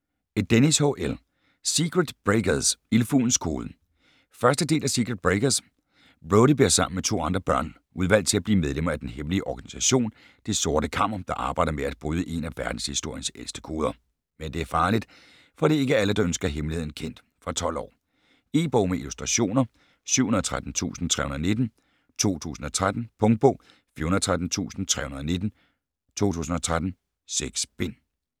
Dennis, H.L.: Secret breakers - Ildfuglens kode 1. del af Secret breakers. Brodie bliver sammen med to andre børn udvalgt til at blive medlemmer af den hemmelige organisation Det Sorte Kammer, der arbejder med at bryde en af verdenshistoriens ældste koder. Men det er farligt, for det er ikke alle der ønsker hemmeligheden kendt. Fra 12 år. E-bog med illustrationer 713319 2013. Punktbog 413319 2013. 6 bind.